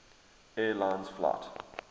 air lines flight